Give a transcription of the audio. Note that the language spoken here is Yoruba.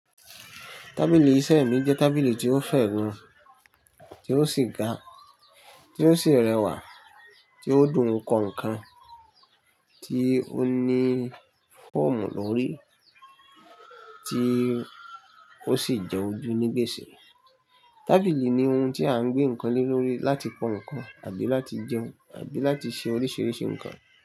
Tábìlì iṣẹ́ mi jẹ́ tábìlì tí ó fẹ̀ gan, tí ó sì ga, tí ó sì rẹwà, tí ó dùn kọ ǹkan, tí ó ní fọ́ọ̀mù lórí, tí ó sì jẹ́ ojú ní gbèsè. Tábìlì ni ohun tí a ń gbé ǹkan lé lórí láti kọ ǹkan àbí láti jẹun àbí láti ṣe oríṣiríṣi ǹkan.